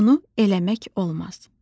Bunu eləmək olmaz.